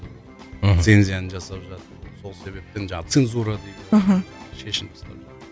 мхм лицензияны жасап жатыр сол себептен жаңағы цензура дейді мхм